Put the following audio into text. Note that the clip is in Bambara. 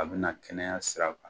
A bina kɛnɛya siraw kan